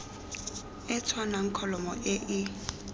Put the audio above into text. e tshwanang kholomo e e